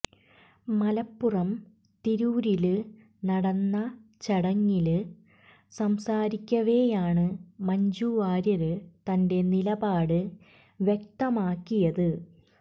മലപ്പുറം തിരൂരില് നടന്ന ചടങ്ങില് സംസാരിക്കവെയാണ് മഞ്ജുവാര്യര് തന്റെ നിലപാട് വ്യക്കമാക്കിയത്